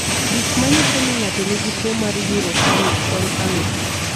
Gik manyiso ni ng'ato nigi tuwo mar Urocanase en ang'o?